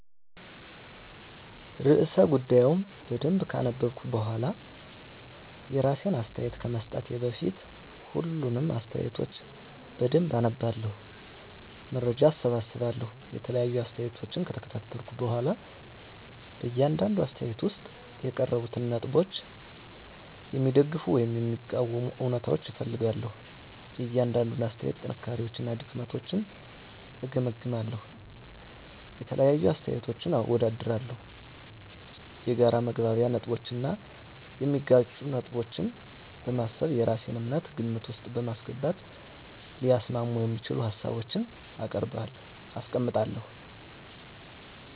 *ርዕሰ ጉዳዩን በደንብ ካነበብኩ በኋላ፤ *የራሴን አስተያየት ከመስጠቴ በፊት፦ ፣ሁሉንም አስተያየቶች በደንብ አነባለሁ፣ መረጃ እሰበስባለሁ የተለያዩ አስተያየቶችን ከተከታተልኩ በኋላ በእያንዳንዱ አስተያየት ውስጥ የቀረቡትን ነጥቦች የሚደግፉ ወይም የሚቃወሙ እውነታዎችን እፈልጋለሁ፤ * የእያንዳንዱን አስተያየት ጥንካሬዎችና ድክመቶችን እገመግማለሁ። * የተለያዩ አመለካከቶችን አወዳድራለሁ። የጋራ መግባቢያ ነጥቦችን እና የሚጋጩ ነገሮችን በማሰብ የራሴን እምነት ግምት ውስጥ በማስገባት ሊያስማሙ የሚችሉ ሀሳቦችን አስቀምጣለሁ።